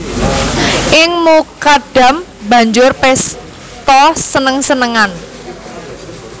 Ing Mukadam banjur pésta seneng senengan